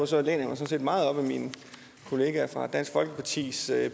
sådan set meget op ad mine kollegaer fra dansk folkepartis